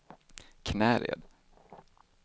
Knäred